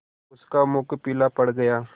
उसका मुख पीला पड़ गया